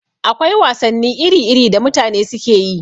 Akwai wasanni iri-iri da mutane suke yi.